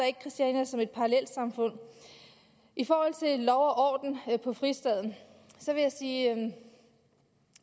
ikke christiania som et parallelsamfund i forhold til lov og orden på fristaden vil jeg sige at